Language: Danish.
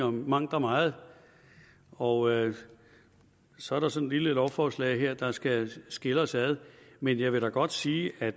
om mangt og meget og så er der sådan et lille lovforslag her der skal skille os ad men jeg vil da godt sige at